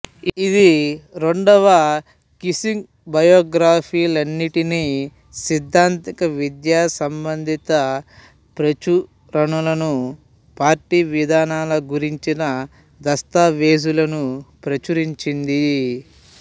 ఇది రెండవ కింసుంగ్ బయోగ్రఫీలన్నింటినీ సిద్ధాంతిక విద్యా సంబంధిత పేచురణలను పార్టీ విధానాల గురించిన దస్తావేజులను ప్రచురించింది